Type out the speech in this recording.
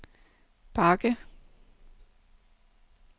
bakke